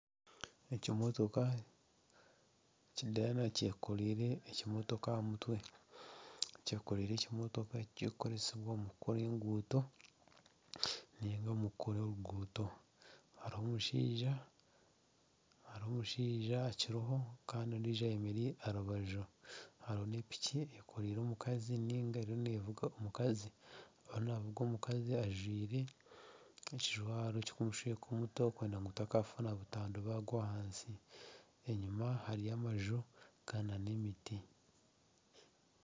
Ekimotoka kya dayana kyekoreire ekimotoka aha mutwe . Kyekoreire ekimotoka ekikukoresebwa omu kukora enguuto ninga omu kukora oruguuto. Hariho omushaija akiriho Kandi ondijo ayemereire aha rubaju hariho na piki eriyo nevuga omukazi ajwire ekijwaro kikumushweka omutwe kwenda ngu gutakafuna butandwa bagwa ahansi enyuma hariyo amaju na emiti.